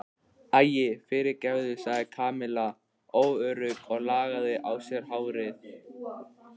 Æi, fyrirgefðu sagði Kamilla óörugg og lagaði á sér hárið.